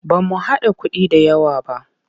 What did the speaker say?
Ba mu haɗa kuɗi da yawq ba.